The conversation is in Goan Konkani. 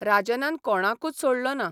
राजनान कोणाकूच सोडलो ना.